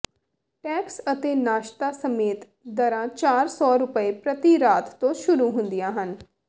tax ਅਤੇ ਨਾਸ਼ਤਾ ਸਮੇਤ ਦਰਾਂ ਚਾਰ ਸੌ ਰੁਪਏ ਪ੍ਰਤੀ ਰਾਤ ਤੋਂ ਸ਼ੁਰੂ ਹੁੰਦੀਆਂ ਹਨ